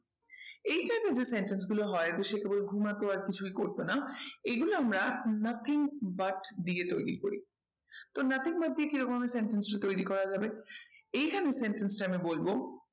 এইটাতে যে sentence গুলো হয় যে সে কেবল ঘুমাতো আর কিছুই করতো না এগুলো আমরা nothing but দিয়ে তৈরী করি। তো nothing but কি রকম আমি sentence টা তৈরী করা যাবে এখানে sentence টা আমি বলবো